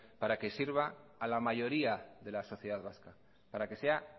para que sirva a la mayoría de la sociedad vasca para que sea